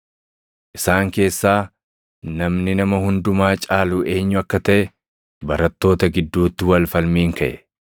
Isaan keessaa namni nama hundumaa caalu eenyu akka taʼe barattoota gidduutti wal falmiin kaʼe.